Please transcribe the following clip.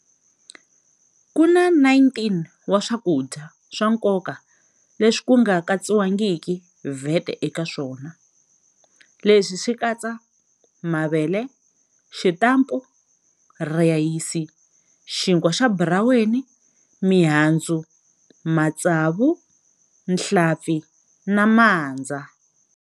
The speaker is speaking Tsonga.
Ku na 19 wa swakudya swa nkoka leswi ku nga katsiwangiki VAT eka swona. Leswi swi katsa- mavele, xitampa, rhayisi, xinkwa xa buraweni, mihandzu, matsavu, nhlampfi na mandza.